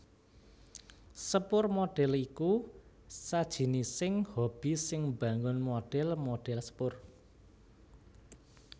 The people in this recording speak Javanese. Sepur modèl iku sajinising hobi sing mbangun modèl modèl sepur